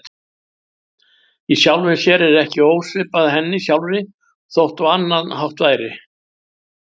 Í sjálfu sér ekki ósvipað henni sjálfri þótt á annan hátt væri.